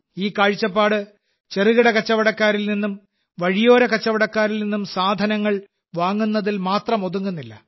ഈ കാഴ്ചപ്പാട് ചെറുകിട കച്ചവടക്കാരിൽ നിന്നും വഴിയോര കച്ചവടക്കാരിൽ നിന്നും സാധനങ്ങൾ വാങ്ങുന്നതിൽ മാത്രം ഒതുങ്ങുന്നില്ല